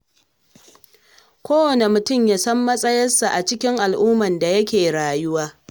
Kowane mutum ya san matsayarsa a cikin al'ummar da yake rayuwa.